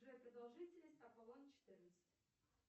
джой продолжительность аполлон четырнадцать